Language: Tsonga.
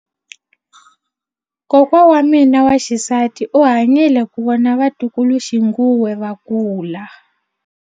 Kokwa wa mina wa xisati u hanyile ku vona vatukuluxinghuwe va kula.